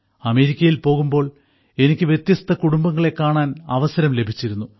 അമേരിക്കയിൽ പോകുമ്പോൾ എനിക്ക് വ്യത്യസ്ത കുടുംബങ്ങളെ കാണാൻ അവസരം ലഭിച്ചിരുന്നു